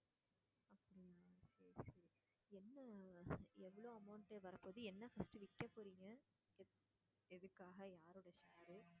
சரி சரி என்ன எவ்ளோ amount உ வரப்போகுது என்ன first விற்கப்போறீங்க எதுக்காக யாரோட share உ